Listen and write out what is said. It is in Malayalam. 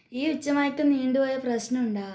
ഈ ഉച്ച മയക്കം നീണ്ടുപോയാൽ പ്രശ്നമുണ്ടാ